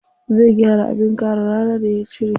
Zai gyara abin kare rana da ya cire.